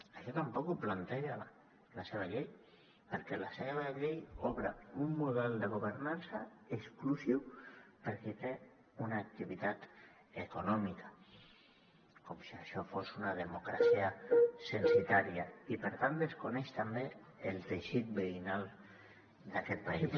això tampoc ho planteja la seva llei perquè la seva llei obre un model de governança exclusiu per a qui té una activitat econòmica com si això fos una democràcia censatària i per tant desconeix també el teixit veïnal d’aquest país